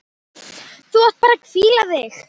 Þú átt bara að hvíla þig!